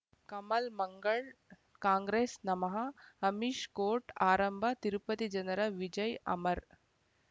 ಕಮಲ್ ಮಂಗಳ್ ಕಾಂಗ್ರೆಸ್ ನಮಃ ಅಮಿಷ್ ಕೋರ್ಟ್ ಆರಂಭ ತಿರುಪತಿ ಜನರ ವಿಜಯ್ ಅಮರ್